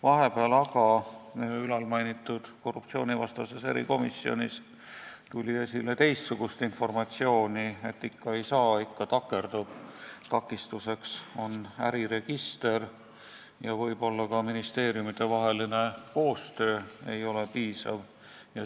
Vahepeal tuli aga ülalmainitud korruptsioonivastases erikomisjonis esile teistsugust informatsiooni: ikka ei saa, see takerdub, takistuseks on äriregister ja võib-olla ei ole ka ministeeriumidevaheline koostöö piisavalt hea.